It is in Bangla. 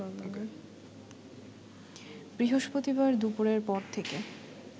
বৃহস্পতিবার দুপুরের পর থেকে